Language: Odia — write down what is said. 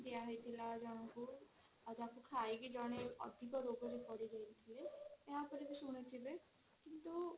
ଜଣକୁ ଆଉ ତାକୁ ଖାଇକି ଜଣେ ଅଧିକ ରୋଗରେ ପଡିଯାଇଥିଲେ ଆପଣ ବି ଶୁଣିଥିବେ କିନ୍ତୁ